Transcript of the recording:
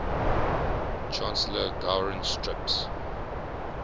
chancellor gowron strips